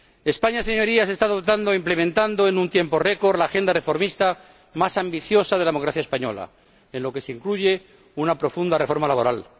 España, Señorías, está dotando e implementando en un tiempo récord la agenda reformista más ambiciosa de la democracia española, en la que se incluye una profunda reforma laboral.